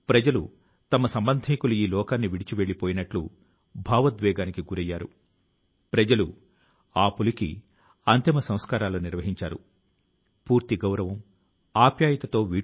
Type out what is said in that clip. మన సంప్రదాయం లోని వివిధ అంశాలను ఆధునిక పద్ధతిలో ఎలా ప్రదర్శిస్తున్నారో ప్రజలకు తెలియజేసేందుకు నేను ఈ అద్భుతమైన చొరవ ను గురించి చర్చిస్తున్నాను